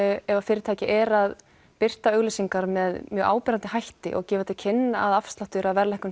ef fyrirtæki er að birta auglýsingar með mjög áberandi hætti og gefa til kynna að afsláttur af verðlækkun